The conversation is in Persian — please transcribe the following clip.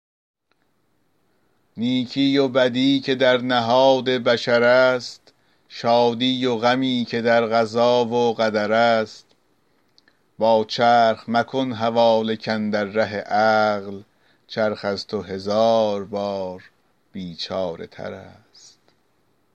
نیکی و بدی که در نهاد بشر است شادی و غمی که در قضا و قدر است با چرخ مکن حواله کاندر ره عقل چرخ از تو هزار بار بیچاره تر است